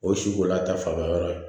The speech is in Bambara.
O ye si ko la ta fanba yɔrɔ ye